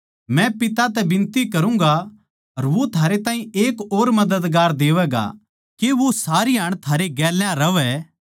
मै पिता तै बिनती करूँगा अर वो थारै ताहीं एक और मददगार देवैगा के वो सारीहाण थारै गेल्या रहवै